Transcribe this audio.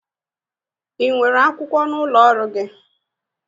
Ị nwere akwụkwọ n'ụlọ ọrụ gị?